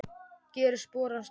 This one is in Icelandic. Gerir spor hans þung.